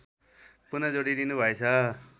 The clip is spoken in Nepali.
पुन जोडिदिनु भएछ